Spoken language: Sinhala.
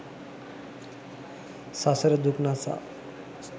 සසර දුක් නසා